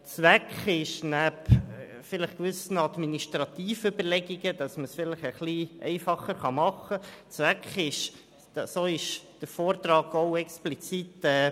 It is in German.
Zweck ist neben administrativen Überlegungen zu einer Vereinfachung eine gewisse Solidarisierung zwischen den Gemeinden.